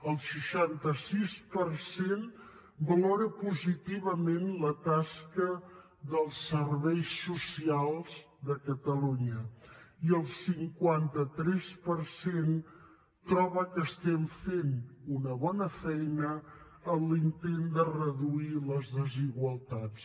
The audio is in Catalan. el seixanta sis per cent valora positivament la tasca dels serveis socials de catalunya i el cinquanta tres per cent troba que fem una bona feina en l’intent de reduir les desigualtats